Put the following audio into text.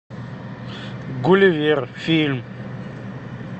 гулливер фильм